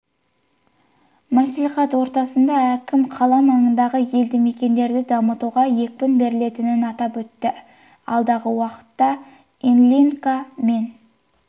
мәслихат отырысында әкім қала маңындағы елді мекендерді дамытуға екпін берілетінін атап өтіп алдағы уақытта ильинка мен